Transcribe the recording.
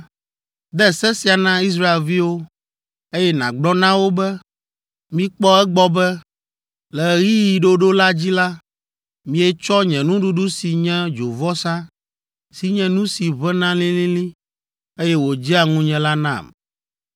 “De se sia na Israelviwo, eye nàgblɔ na wo be, ‘Mikpɔ egbɔ be, le ɣeyiɣi ɖoɖo la dzi la, mietsɔ nye nuɖuɖu si nye dzovɔsa, si nye nu si ʋẽna lĩlĩlĩ, eye wòdzea ŋunye la nam.’